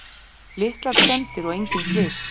Litlar skemmdir og engin slys